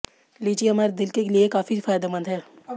लीची हमारे दिल के लिए काफी फायदेमंद है